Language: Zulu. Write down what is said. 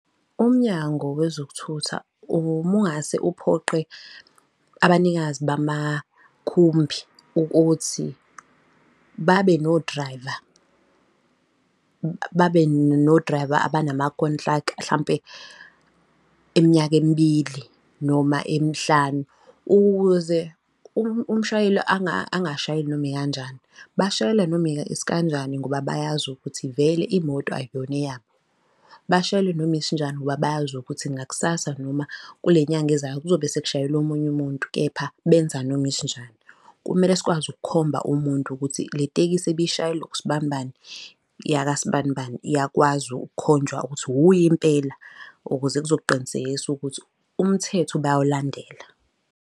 UMnyango wezokuThutha uma ungase uphoqe abanikazi bamakhumbi ukuthi babe no-driver babe no-driver abanama-contract hlampe eminyaka emibili noma emihlanu, ukuze umshayeli angashayeli noma ikanjani. Bashayela noma isikanjani ngoba bayazi ukuthi vele imoto akuyona eyabo, bashayele noma isinjani ngoba bayazi ukuthi ngakusasa noma kule nyanga ezayo kuzobe sekushayela omunye umuntu, kepha benza noma isinjani. Kumele sikwazi ukukhomba umuntu ukuthi le tekisi ebishayelwa usibanibani, yakasibanibani, iyakwazi ukukhonjwa ukuthi uye impela, ukuze kuzoqinisekisa ukuthi umthetho bayawulandela.